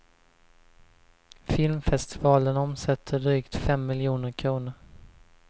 Filmfestivalen omsätter drygt fem miljoner kronor.